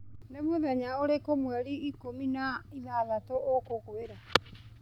nĩ mũthenya ũrĩkũ mweri ikũmi na ithathatũ ũkũgũĩra